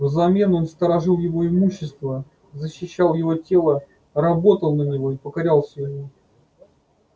взамен он сторожил его имущество защищал его тело работал на него и покорялся ему